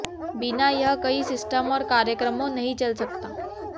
बिना यह कई सिस्टम और कार्यक्रमों नहीं चल सकता